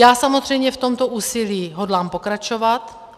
Já samozřejmě v tomto úsilí hodlám pokračovat.